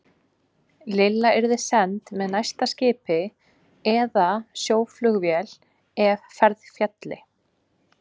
Lilla yrði send með næsta skipi eða sjóflugvél ef ferð félli.